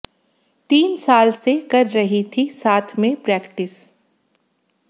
तीन साल से कर रही थी साथ में प्रैक्टिस